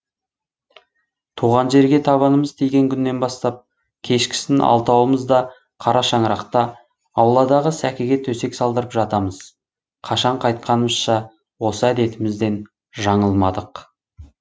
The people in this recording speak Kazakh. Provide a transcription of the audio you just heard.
туған жерге табанымыз тиген күннен бастап кешкісін алтауымыз да қара шаңырақта ауладағы сәкіге төсек салдырып жатамыз қашан қайтқанымызша осы әдетімізден жаңылмадық